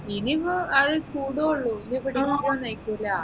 ഇനി ഇപ്പൊ അഹ് കൂടു ഏ ഉള്ളു ഇനി ഇപ്പൊ degree ഒന്നും ഏരികൂല